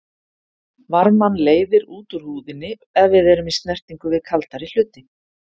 Varmann leiðir út úr húðinni ef við erum í snertingu við kaldari hluti.